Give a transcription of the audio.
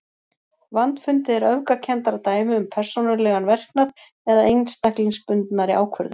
Vandfundið er öfgakenndara dæmi um persónulegan verknað eða einstaklingsbundnari ákvörðun.